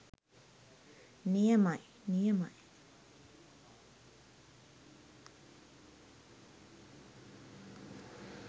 නි‍ය‍ම‍යි ‍නි‍ය‍ම‍යි.